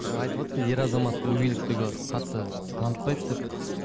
жаңа айтыватсыздар ер азамат өгейлікті қатты танытпайды деп